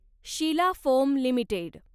Sheila foam limited